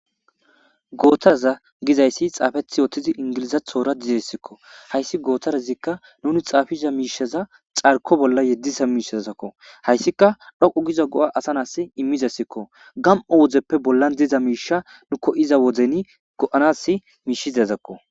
Gotara getetidi xaafeti utida miishazi ingilizathora desko, haysi gotarazik nuni xaafiza mishaza carko bolla yediza miishazako , haysika dhoqu gida go'a asa nasi imizaysako. Gam'o wodeppe bollan diza misha nu koyiza wodin go'anasi mishizazako.